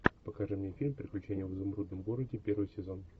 покажи мне фильм приключения в изумрудном городе первый сезон